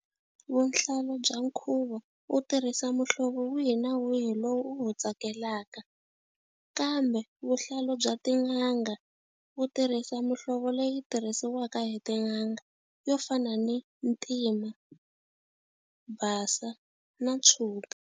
Vuhlalu bya nkhuvo wu tirhisa muhlovo wihi na wihi lowu u wu tsakelaka. Kambe vuhlalu bya tin'anga u tirhisa muhlovo leyi tirhisiwaka hi tin'anga yo fana ni ntima, basa, na tshuka.